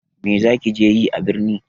Me za ki je yi a birni?